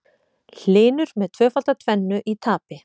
Hlynur með tvöfalda tvennu í tapi